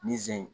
Nizɛri